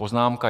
Poznámka